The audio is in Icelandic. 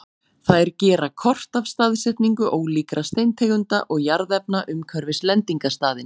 þær gera kort af staðsetningu ólíkra steintegunda og jarðefna umhverfis lendingarstaðinn